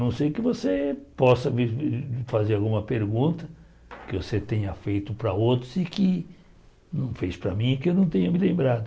Não sei que você possa me fazer alguma pergunta que você tenha feito para outros e que não fez para mim e que eu não tenha me lembrado.